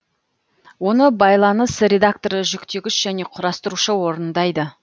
оны байланыс редакторы жүктегіш жөне құрастырушы орындайды